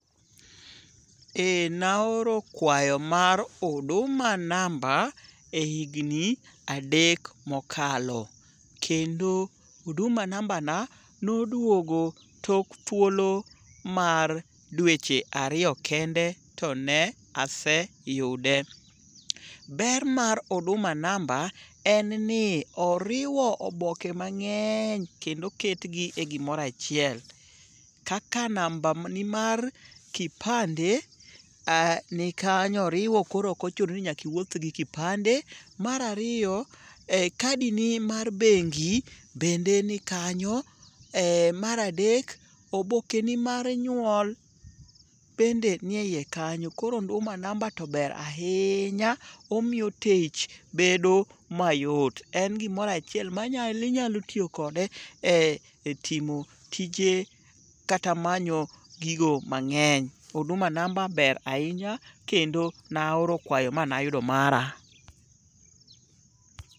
Eh naoro kwayo mar huduma namba e higni adek mokalo kendo huduma namba na noduogo tok thuolo mar dweche ariyo kende to ne aseyude. Ber mar huduma namba en ni oriwo oboke mang'eny kendo oketgi e gimoro achiel. Kaka nambani mar kipande nikanyo oriwo koro ok ochuno ni nyaka iwuoth gi kipande. Mar ariyo kadi ni mar bengi bende ni kanyo. Mar adek obokeni mar nyuol bende nie iye kanyo koro huduma namba to ber ahinya omiyo tich bedo mayot en gimoro achiel minyalo tiyo kode e timo tije kata manyo gigo mang'eny. Huduma namba ber ahinya kendo naoro kwayo manayudo mara.